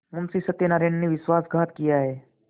मुंशी सत्यनारायण ने विश्वासघात किया है